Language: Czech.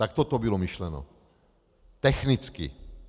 Takto to bylo myšleno technicky.